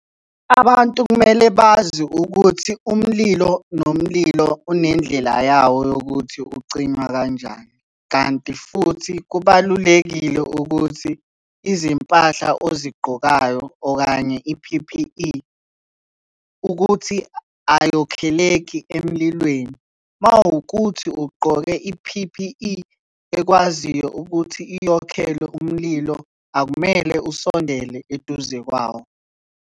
Abantu kumele bazi ukuthi umlilo nomlilo unendlela yawo yokuthi ucinywa kanjani, kanti futhi kubalulekile ukuthi izimpahla ozigqokayo okanye i-P_P_E, ukuthi ayokholeki emlilweni. Uma kuwukuthi ugqoke i-P_P_E ekwaziyo ukuthi iyokhelwe umlilo, akumele usondele eduze kwawo.